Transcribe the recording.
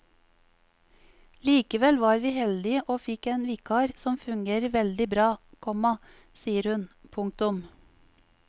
Likevel var vi heldige og fikk en vikar som fungerer veldig bra, komma sier hun. punktum